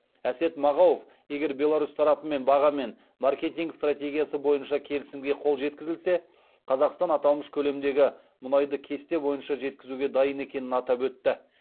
әсет мағауов егер беларусь тарапымен баға мен маркетинг стратегиясы бойынша келісімге қол жеткізілсе қазақстан аталмыш көлемдегі мұнайды кесте бойынша жеткізуге дайын екенін атап өтті